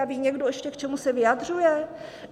A ví někdo ještě, k čemu se vyjadřuje?